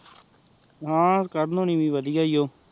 ਹਾਂ ਕਰਨ ਹੋਣੀ ਵੀ ਵਾਦਿਯ ਹੀ ਊਹ